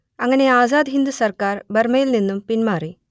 അങ്ങനെ ആസാദ് ഹിന്ദ് സർക്കാർ ബർമ്മയിൽ നിന്നും പിന്മാറി